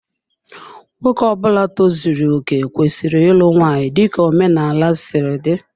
Nwoke Ọbula tozuru okè kwesịrị ịlụ nwanyị dika omenala si dị.